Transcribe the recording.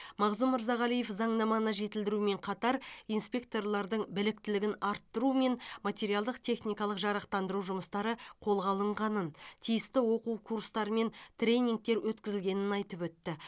мағзұм мырзағалиев заңнаманы жетілдірумен қатар инспекторлардың біліктілігін арттыру мен материалдық техникалық жарақтандыру жұмыстары қолға алынғанын тиісті оқу курстары мен тренингтер өткізілгенін айтып өтті